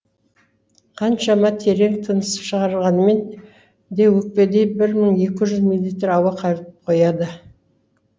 қаншама терең тыныс шығарғанмен де өкпеде бір мың екі жүз миллилитр ауа қалып қояды